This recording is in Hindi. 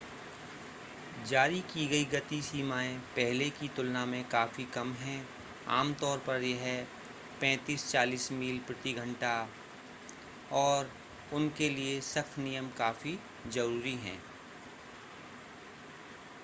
जारी की गयी गति सीमाएं पहले की तुलना में काफी कम है -आमतौर पर यह 35-40 मील प्रति घंटा56-60 किमी प्रति घंटा और उनके लिए सख्त नियम काफी जरूरी है